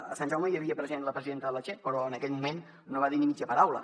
a sant jaume hi havia present la presidenta de la che però en aquell moment no va dir ni mitja paraula